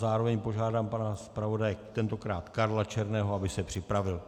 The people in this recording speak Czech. Zároveň požádám pana zpravodaje, tentokrát Karla Černého, aby se připravil.